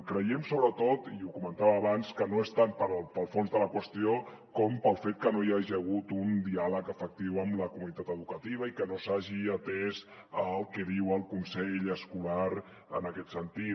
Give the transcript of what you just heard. creiem sobretot i ho comentava abans que no és tant pel fons de la qüestió com pel fet que no hi hagi hagut un diàleg efectiu amb la comunitat educativa i que no s’hagi atès el que diu el consell escolar en aquest sentit